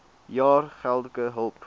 jaar geldelike hulp